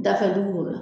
Dafɛ dugu b'o la